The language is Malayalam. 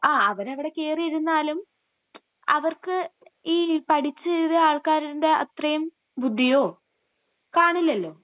ങാ..അവരവിടെ കേറിയിരുന്നാലും...അവർക്ക്..ഈ..പഠിച്ചെഴുതിയ ആൾക്കാരിൻ്റെ അത്രേം ബുദ്ധിയോ കാണില്ലല്ലോ...